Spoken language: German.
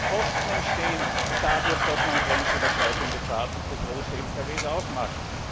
Was für Kosten entstehen dadurch, dass man grenzüberschreitende Fahrten für große Lkw aufmacht?